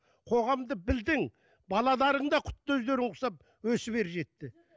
қоғамды білдің балаларың да құтты өздеріңе ұқсап өсіп ер жетті